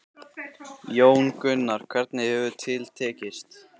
Jón Gunnar, hvernig hefur til tekist?